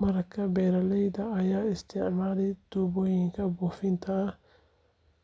Marka beeraleyda ay isticmaalaan tuubooyin buufin ah.